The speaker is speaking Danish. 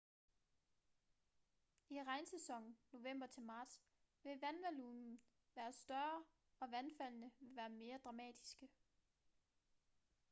i regnsæsonen november til marts vil vandvolumen være større og vandfaldene vil være mere dramatiske